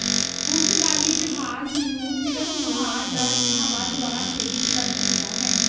ਪੁਰਤਗਾਲੀ ਜਹਾਜ਼ ਨੂੰ ਸਿਰਫ ਵਹਾਅ ਜ ਹਵਾ ਦੁਆਰਾ ਪ੍ਰੇਰਿਤ ਕਰ ਸਕਦਾ ਹੈ